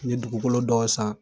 N ye dugukolo dɔw san.